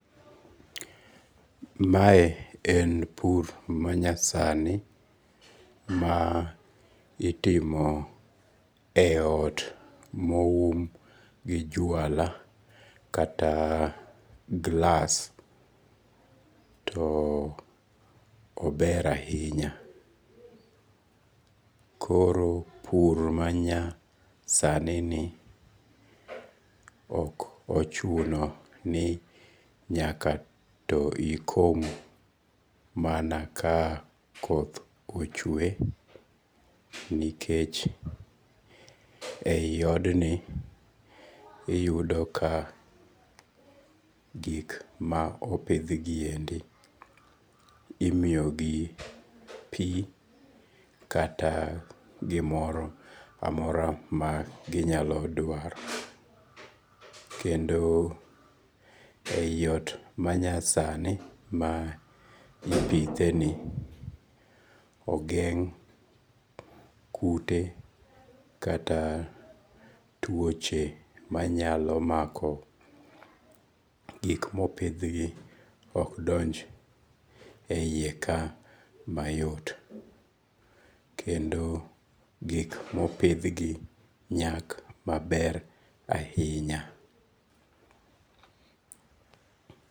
Mae en pur manyasani ma itimo e ot moum gi jwala kata gi glass too ober ahinya, koro pur manyasanini okochuno ni nyaka to ikom mana ka koth ochwe nikech, e yi odni iyudo ka gik ma opithniendi imiyogi pi kata gimoro amora ma ginyalo dwaro kendo e yi ot manyasani ma ipitheni ogeng' kute kata twoche manyalo mako gik mopithgi ok donj e hiye ka mayot kendo gik ma opithgi nyak maber ahinya